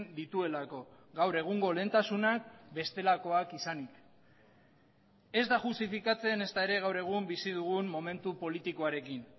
dituelako gaur egungo lehentasunak bestelakoak izanik ez da justifikatzen ezta ere gaur egun bizi dugun momentu politikoarekin